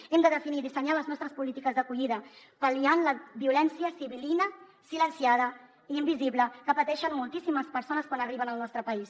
hem de definir i dissenyar les nostres polítiques d’acollida pal·liant la violència sibil·lina silenciada i invisible que pateixen moltíssimes persones quan arriben al nostre país